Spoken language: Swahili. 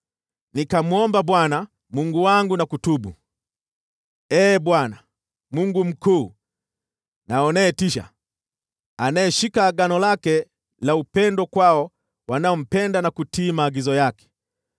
Nikamwomba Bwana Mungu wangu na kutubu: “Ee Bwana, Mungu mkuu na unayetisha, anayeshika agano lake la upendo kwao wanaompenda na kutii maagizo yake,